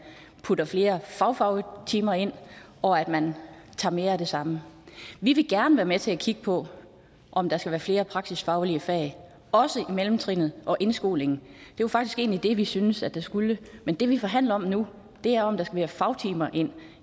putter flere fagfagtimer ind og at man tager mere af det samme vi vil gerne være med til at kigge på om der skal være flere praksisfaglige fag også i mellemtrinet og indskolingen det var faktisk egentlig det vi synes at der skulle men det vi forhandler om nu er om der skal fagtimer ind